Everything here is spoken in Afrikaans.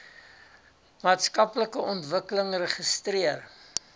maatskaplike ontwikkeling registreer